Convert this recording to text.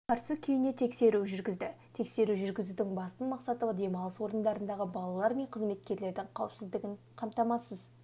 қарсы күйіне тексеру жүргізді тексеру жүргізудің басты мақсаты демалыс орындарындағы балалар мен қызметкерлердің қауіпсіздігін қамтамасыз